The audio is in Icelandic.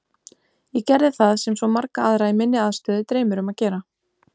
Ég gerði það sem svo marga aðra í minni aðstöðu dreymir um að gera.